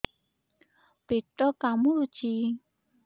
ପେଟ କାମୁଡୁଛି